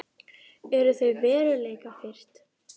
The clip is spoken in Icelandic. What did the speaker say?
Eru þau veruleikafirrt?